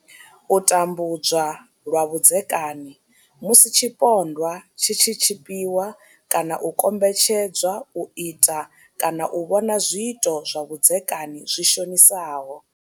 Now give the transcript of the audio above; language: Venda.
U tambudzwa lwa vhudzeka ni musi tshipondwa tshi tshi tshipiwa kana u kombetshedzwa u ita kana u vhona zwiito zwa vhudzekani zwi shonisaho.